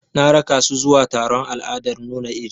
Na raka su zuwa taron al'adar nuna iri.